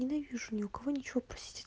ненавижу ни у кого ничего просить